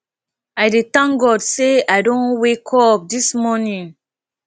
i dey thank god sey i don wake up dis morning